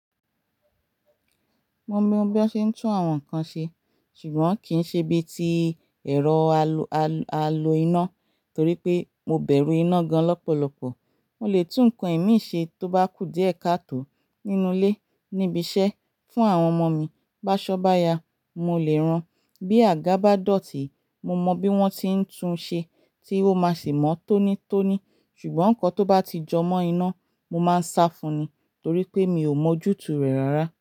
Mo mọ bí wọ́n ṣe ń tún àwọn nǹkan ṣe, ṣùgbọ́n kì í ṣe bí i ti ẹ̀rọ aloiná torí pé mo bẹ̀rù iná gan lọ́pọ̀lọpọ̀. Mo lè tún ǹkan imi ṣe tó bá kú díẹ̀ kató nínú ilé níbi iṣẹ́ fún àwọn ọmọ mi. B'áṣọ́ bá ya, mo lè rán. Bí àga bá dọ̀tí, mo mọ bí wọ́n ti ń tun ṣe tí ó máa sì mọ́ tónítóní. Ṣùgbọ́n ǹkan tó bá ti jọ mọ́ iná, mo máa ń sá fún un ni torí pé mi ò mọ̀ ojútùú rẹ̀ rárá.